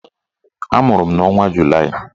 Amụrụ m n'ọnwa Julaị